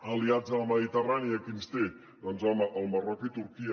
aliats a la mediterrània qui ens té doncs el marroc i turquia